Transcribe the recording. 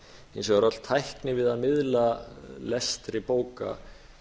hins vegar öll tækni við að miðla lestri bóka